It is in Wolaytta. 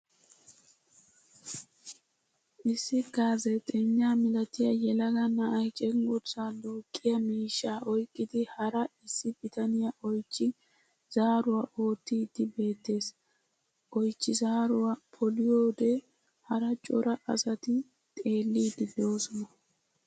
Issi gaazeexagna milatiya yelaga na'ay cenggurssa duuqqiya miishshaa oyqqidi hara issi bitaniya oychchi zaatiwa oottiiddi beettees. rti oychchi zaaruwo poliyode hara cora asati xerlliidi doosona.